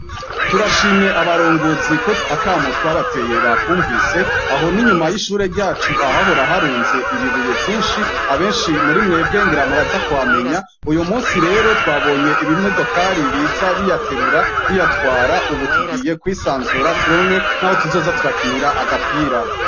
Turashimye abaronguzio akamo twabateye bakwumvise aho n'inyuma y'ishure ryacu ahahoraharunze ibibuye vyinshi abenshi muri mwebwe ngera muraza kwamenya uyu musi rero twabonye ibimwe dokari biza biyaterura biyatwara, ubu tugiye kwisanzura turonke, naho tuzoza turakinira agapira.